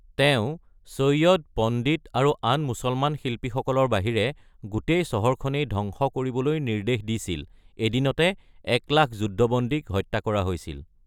তেওঁ সৈয়দ, পণ্ডিত, আৰু আন মুছলমান শিল্পীসকলৰ বাহিৰে গোটেই চহৰখনেই ধংস কৰিবলৈ নিৰ্দেশ দিছিল; এদিনতে ১,০০,০০০ যুদ্ধবন্দীক হত্যা কৰা হৈছিল।